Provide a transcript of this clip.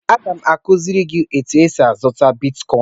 Aga m akụziri gị etu esi azụta bitkọin.